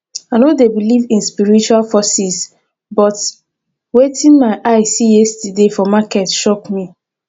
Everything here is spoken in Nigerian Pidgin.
i no dey believe in spiritual forces but wetin my eye see yesterday for market shock me